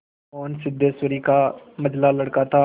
मोहन सिद्धेश्वरी का मंझला लड़का था